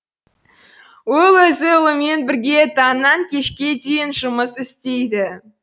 ол өзі ұлымен бірге таңнан кешке дейін жұмыс істейді